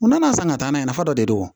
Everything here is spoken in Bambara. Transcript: U nana san ka taa n'a ye nafa dɔ de do